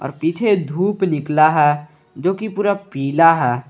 पीछे धूप निकला है जो कि पूरा पीला है।